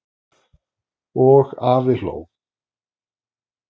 Og afi hló.